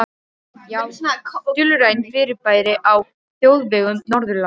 Já, dulræn fyrirbæri á þjóðvegum Norðurlanda.